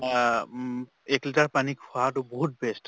আহ উম এক liter পানী খোৱাটো বহুত best